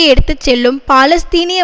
எடுத்து செல்லும் பாலஸ்தீனிய